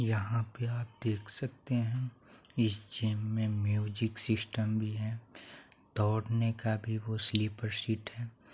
यहाँ पे आप देख सकते है इस जिम मे म्यूजिक सिस्टम भी है। दोड़ने का भी वो सलीपर सीट है।